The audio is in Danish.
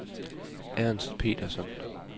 Ernst Petersson